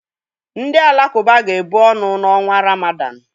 Ndị Alakụba ga-ebu ọnụ n'ọnwa Ramadan.